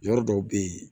Yɔrɔ dɔw bɛ yen